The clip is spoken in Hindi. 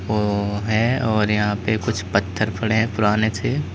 वो हैं और यहां पे कुछ पत्थर पड़े है पुराने से --